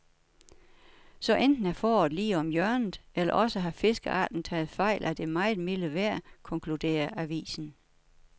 Så enten er foråret lige om hjørnet, eller også har fiskearten taget fejl af det meget milde vejr, konkluderer avisen.